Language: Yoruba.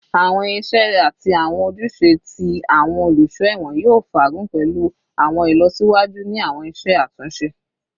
Awọn iṣẹ ati awọn ojuse ti awọn oluso ẹwọn yoo faagun pẹlu awọn ilọsiwaju ni awọn iṣe atunṣe